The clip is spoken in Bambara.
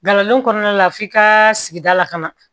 Nkalon kɔnɔna la f'i ka sigida la ka na